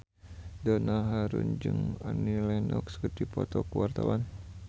Donna Harun jeung Annie Lenox keur dipoto ku wartawan